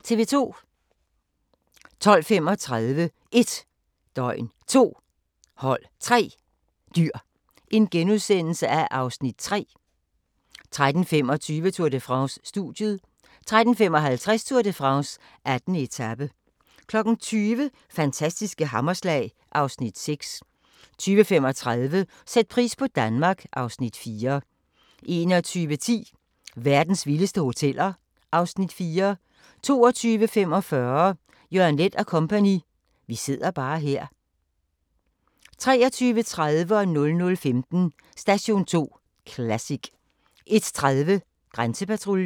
12:35: 1 døgn, 2 hold, 3 dyr (Afs. 3)* 13:25: Tour de France: Studiet 13:55: Tour de France: 18. etape 20:00: Fantastiske hammerslag (Afs. 6) 20:35: Sæt pris på Danmark (Afs. 4) 21:10: Verdens vildeste hoteller (Afs. 4) 22:45: Jørgen Leth & Co.: Vi sidder bare her 23:30: Station 2 Classic 00:15: Station 2 Classic 01:30: Grænsepatruljen